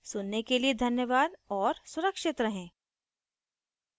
सुनने के लिए धन्यवाद और सुरक्षित रहें